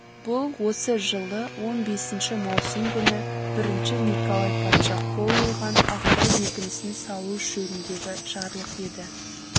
бұл осы жылы он бесінші маусым күні бірінші николай патша қол қойған ақтау бекінісін салу жөніндегі жарлық еді